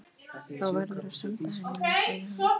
Þá verðurðu að senda henni mig, sagði hann.